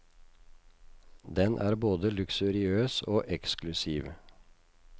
Den er både luksuriøs og eksklusiv.